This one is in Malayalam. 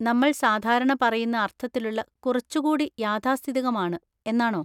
നമ്മൾ സാധാരണ പറയുന്ന അർത്ഥത്തിലുള്ള കുറച്ചുകൂടി യാഥാസ്ഥിതികം ആണ്, എന്നാണോ?